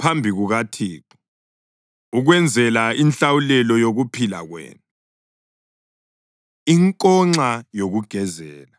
phambi kukaThixo ukwenzela inhlawulelo yokuphila kwenu.” Inkonxa Yokugezela